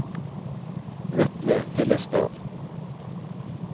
Vetle Hillestad